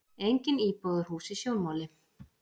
Engin íbúðarhús í sjónmáli.